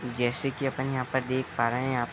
जैसे की अपन यहाँ पर देख पा रहे है यहाँ प --